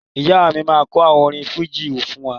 Ìyá mi máa kọ orin fújì fún wa